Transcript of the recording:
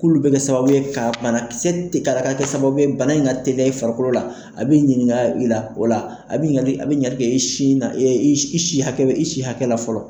K'ulu bɛ kɛ sababu ye ka banakisɛ tɛ kara kɛ sababu ye bana in ka teliya i farikolo la a bɛ ɲininka i la o la, a bɛ ɲininkali a bɛ ɲininkali kɛ in sin i i si hakɛ i si hakɛ la fɔlɔ.